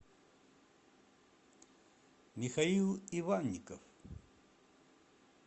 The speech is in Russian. михаил иванников